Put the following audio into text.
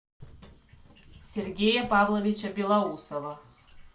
сергея павловича белоусова